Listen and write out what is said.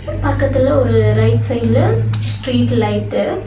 இங்க பக்கத்துல ஒரு ரைட் சைடு ல ஸ்ட்ரீட் லைட் டு --